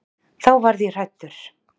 Þá varð ég hræddur.